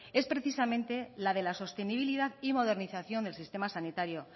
es precisamente la de la sostenibilidad y modernización del sistema sanitario